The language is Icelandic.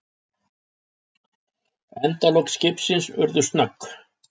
Endalok skipsins urðu snögg.